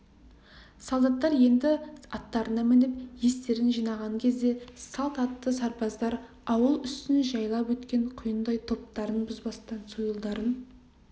солдаттар енді аттарына мініп естерін жинаған кезде салт атты сарбаздар ауыл үстін жайпап өткен құйындай топтарын бұзбастан сойылдарын